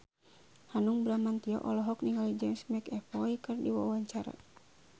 Hanung Bramantyo olohok ningali James McAvoy keur diwawancara